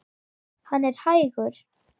Hann er hægur.